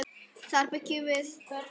Þar bjuggu þau lengst af.